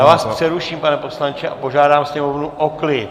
Já vás přeruším, pane poslanče, a požádám sněmovnu o klid.